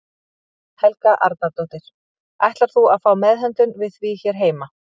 Helga Arnardóttir: Ætlar þú að fá meðhöndlun við því hér heima?